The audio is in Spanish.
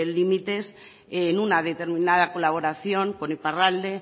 límites en una determinada colaboración con iparralde